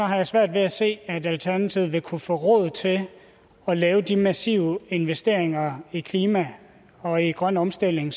har jeg svært ved at se at alternativet vil kunne få råd til at lave de massive investeringer i klima og i grøn omstilling